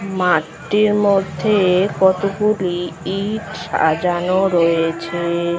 মাঠের মধ্যে কতগুলি ইট সাজানো রয়েছে ।